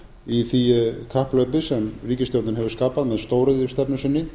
í því kapphlaupi sem ríkisstjórnin hefur skapað með stóriðjustefnu sinni